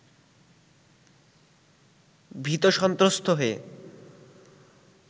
ভীত-সন্ত্রস্ত হয়ে